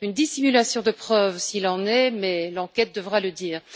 Une dissimulation de preuve s'il en est, mais l'enquête devra le dire.